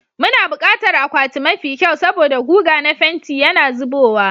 Muna buƙatar akwati mafi kyau saboda guga na fenti yana zubowa,